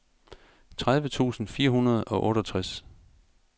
tredive tusind fire hundrede og otteogtres